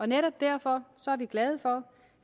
netop derfor er vi glade for